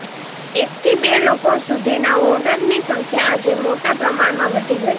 એકથી બે લોકો સુધીના ઓર્ડરની સંખ્યા આજે મોટા પ્રમાણમાં વધી ગઈ છે